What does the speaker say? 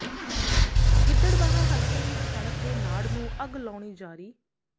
ਗਿੱਦੜਬਾਹਾ ਹਲਕੇ ਵਿਚ ਕਣਕ ਦੇ ਨਾੜ ਨੂੰ ਅੱਗ ਲਾਉਣੀ ਜਾਰੀ